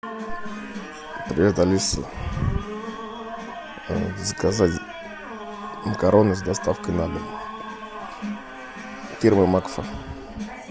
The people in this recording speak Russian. привет алиса заказать макароны с доставкой на дом фирма макфа